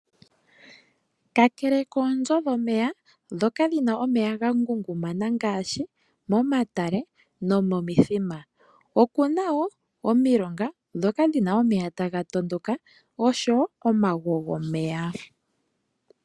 Kakele koonzo dhomeya ndhoka dhina omeya ga ngungumana ngaashi momatale nomomithima kuna woo omilonga ndhoka dhina omeya taga tondoka oshowo omagwo gomeya.